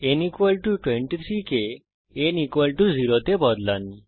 n 23 কে n 0 তে বদলান